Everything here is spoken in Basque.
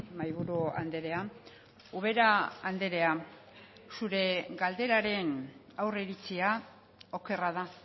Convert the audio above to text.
mahaiburu andrea ubera andrea zure galderaren aurreiritzia okerra da